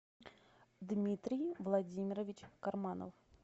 дмитрий владимирович карманов